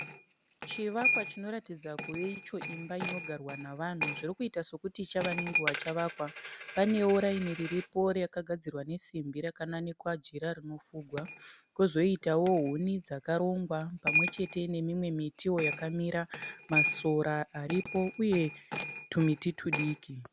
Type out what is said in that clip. Chivakwa chinoratidza kuve icho imba inogarwa navanhu. Zvirikuita sokuti chava nenguva chavakwa. Panewo raini riripo rakagadzirwa nesimbi rakananikwa jira rinofugwa. Kozoitawo huni dzakarongwa pamwechete nemimwe mitiwo yakamira, masora aripo uye tumiti tudiki.